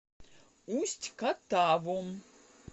усть катавом